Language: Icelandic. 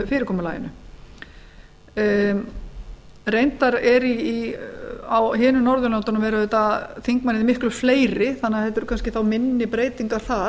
fyrirkomulaginu á hinum norðurlöndunum eru auðvitað þingmenn miklu fleiri þannig að þetta eru þá kannski minni breytingar þar